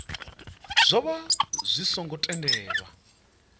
zwo vha zwi songo tendelwa